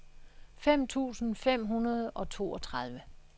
fem tusind fem hundrede og toogtredive